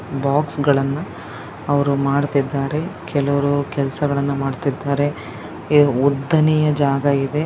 Box ಗಳನ್ನ ಅವ್ರು ಮಾಡತ್ತಿದರೆ ಕೆಲವ್ರು ಕೆಲಸಗಳನ್ನ ಮಾಡಿತಾಇರ್ತಾರೆ ಉದ್ದನೆಯ ಜಾಗ ಇದೆ.